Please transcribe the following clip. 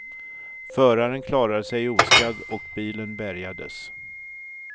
Föraren klarade sig oskadd och bilen bärgades.